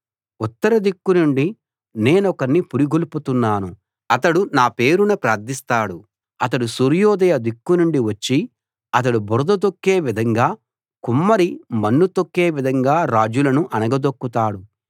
ఉత్తరదిక్కు నుండి నేనొకణ్ణి పురిగొల్పుతున్నాను అతడు నా పేరున ప్రార్థిస్తాడు అతడు సూర్యోదయ దిక్కునుండి వచ్చి ఒకడు బురద తొక్కే విధంగా కుమ్మరి మన్ను తొక్కే విధంగా రాజులను అణగదొక్కుతాడు